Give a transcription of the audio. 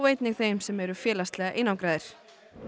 einnig þeir sem eru félagslega einangraðir